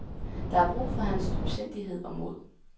Der er brug for hans dybsindighed og mod.